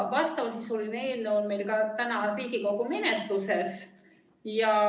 Vastavasisuline eelnõu on meil praegu ka Riigikogu menetluses.